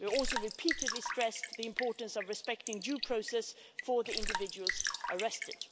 We've also repeatedly stressed the importance of respecting due process for the individuals arrested.